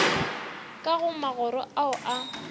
ka go magoro ao a